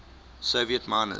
soviet miners